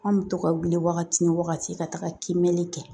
An bɛ to ka wuli wagati ni wagati ka taga kiimɛli kɛ